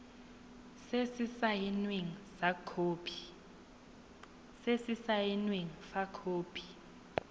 se se saenweng fa khopi